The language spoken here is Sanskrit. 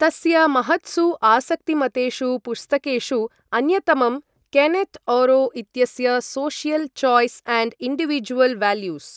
तस्य महत्सु आसक्तिमतेषु पुस्तकेषु अन्यतमं केनेत् ऑरो इत्यस्य social choice and individual values.